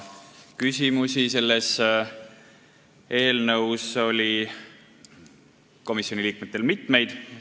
Küsimusi selle eelnõu kohta oli komisjoni liikmetel mitmeid.